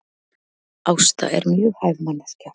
Ásta er mjög hæf manneskja